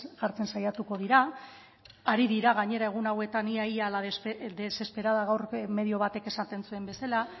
jartzen saiatuko dira ari dira gainera egun hauetan ia ia a la desesperada gaur medio batek esaten zuen bezala